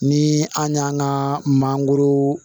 Ni an y'an ka mangoro